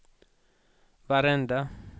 varenda